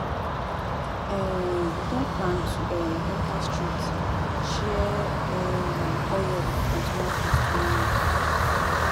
um We don plan to um enter street share um oil and tomatoes tomorrow